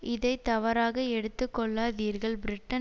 இதை தவறாக எடுத்து கொள்ளாதீர்கள் பிரிட்டன்